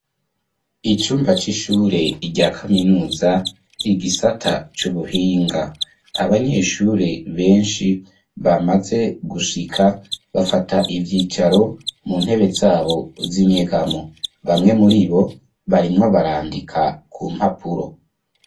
Icumba c'ishure, rya kaminuza, igisata c'ubuhinga; abanyeshure benshi, bamaze gushika, bafata ivyicaro, mu ntebe zabo z'inyegamo; bamwe muri bo, barimwo barandika, ku mpapuro.